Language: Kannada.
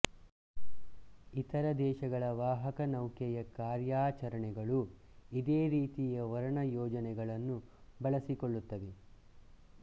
ಇತರ ದೇಶಗಳ ವಾಹಕನೌಕೆಯ ಕಾರ್ಯಾಚರಣೆಗಳು ಇದೇ ರೀತಿಯ ವರ್ಣ ಯೋಜನೆಗಳನ್ನು ಬಳಸಿಕೊಳ್ಳುತ್ತವೆ